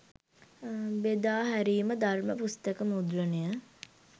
බෙදා හැරීම ධර්ම පුස්තක මුද්‍රණය